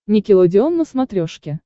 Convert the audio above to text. никелодеон на смотрешке